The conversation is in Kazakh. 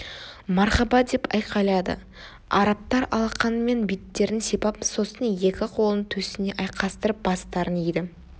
мархаба деп айқайлады арабтар алақанымен беттерін сипап сосын екі қолын төсіне айқастырып бастарын иді